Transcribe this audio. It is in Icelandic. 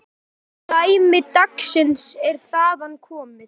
Dæmi dagsins er þaðan komið.